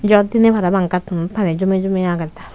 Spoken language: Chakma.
jor diney parapang gattunot pani jomey jomey agedey.